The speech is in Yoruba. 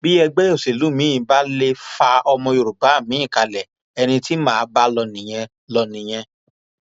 bí ẹgbẹ òṣèlú miín bá lè fa ọmọ yorùbá miín kalẹ ẹni tí mà á bá lọ nìyẹn lọ nìyẹn